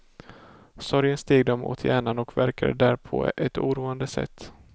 Sorgen steg dem åt hjärnan och verkade där på ett oroande sätt.